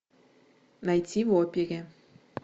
найти в опере